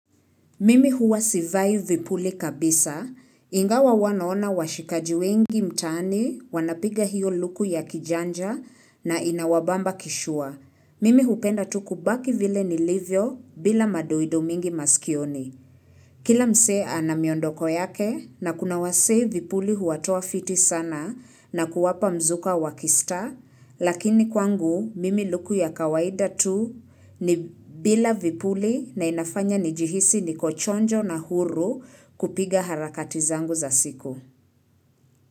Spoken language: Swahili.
Mimi huwa sivai vipuli kabisa. Ingawa huwa naona washikaji wengi mtaani wanapiga hiyo luku ya kijanja na inawabamba kishua. Mimi hupenda tu kubaki vile nilivyo bila madoido mingi maskioni. Kila mse ana miondoko yake na kuna wasee vipuli huwatoa fiti sana na kuwapa mzuka wa kistar, lakini kwangu mimi luku ya kawaida tu ni bila vipuli na inafanya ni jihisi niko chonjo na huru kupiga harakati zangu za siku.